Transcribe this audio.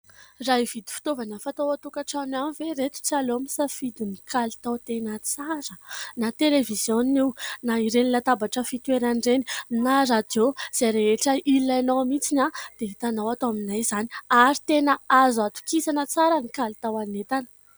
Raha hividy fitaovana fatao ao an-tokantrano ihany ve ireto tsy aleo misafidy ny kalitao tena tsara ? Na televiziona io na ireny latabatra fitoeran'ireny na radiô izay rehetra ilainao mihitsy ny dia hitanao ato aminay izany ary tena azo atokisana tsara ny kalitao ny entana.